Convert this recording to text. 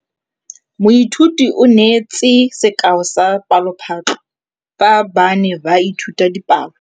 Moithuti o neetse sekaô sa palophatlo fa ba ne ba ithuta dipalo.